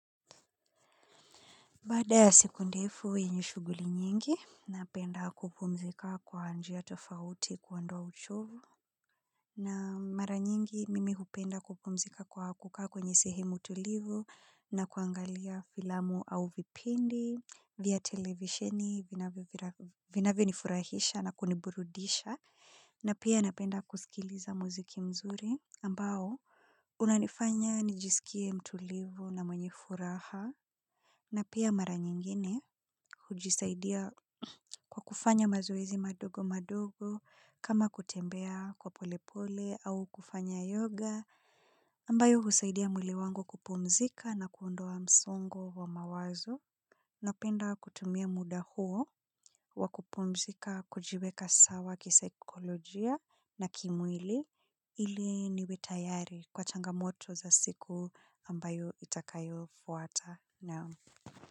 Baada ya siku ndefu yenye shughuli nyingi, napenda kupumzika kwa anjia tofauti kuondoa uchovu. Na mara nyingi mimi hupenda kupumzika kwa hakuka kwenye sehemu tulivu na kuangalia filamu au vipindi via televisheni vinavyonifurahisha na kuniburudisha. Na pia napenda kusikiliza muziki mzuri ambao, unanifanya nijisikie mtulivu na mwenye furaha. Na pia mara nyingine hujisaidia kwa kufanya mazoezi madogo madogo kama kutembea kwa pole pole au kufanya yoga ambayo husaidia mwili wangu kupumzika na kuondoa msungo wa mawazo napenda kutumia muda huo wa kupumzika kujiweka sawa kisaikolojia na kimwili ili niwe tayari kwa changamoto za siku ambayo itakayofuata. Naam.